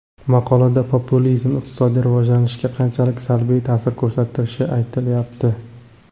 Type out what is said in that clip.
Maqolada populizm iqtisodiy rivojlanishga qanchalik salbiy ta’sir ko‘rsatilishi aytilyapti.